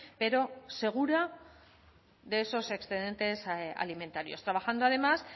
pero segura de esos excedentes alimentarios trabajando además